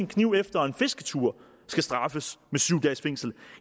kniv efter en fisketur skal straffes med syv dages fængsel